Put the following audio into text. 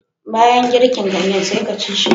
Banyan girkin ganyen sai ka ci shi